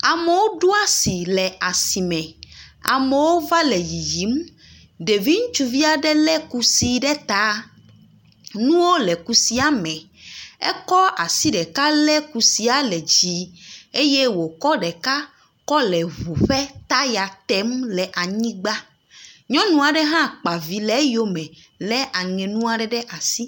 Amewo do asi le asi me, amewo va le yiyim. Ɖevi ŋutsuvi aɖe lé kusi ɖe ta nuwo le kusia me. Ekɔ asi ɖeka lé kusia ɖe ta eye wòkɔ ɖeka le ŋu ƒe taya tem. Nyɔnu aɖe hã kpa vi le eyome le eŋe nu aɖe ɖe asi.